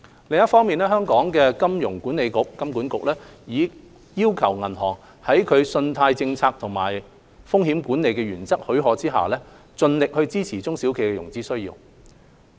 另一方面，香港金融管理局已要求銀行在其信貸政策和風險管理原則許可下，盡力支持中小企的融資需要。